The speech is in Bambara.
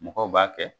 Mɔgɔw b'a kɛ